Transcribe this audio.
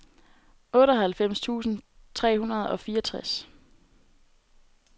otteoghalvfems tusind tre hundrede og fireogtres